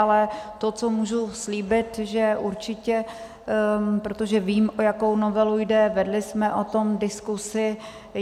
Ale to, co můžu slíbit, že určitě - protože vím, o jakou novelu jde, vedli jsme o tom diskuzi.